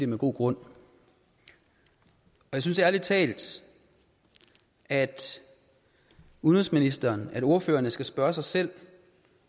med god grund jeg synes ærlig talt at udenrigsministeren og ordførerne skal spørge sig selv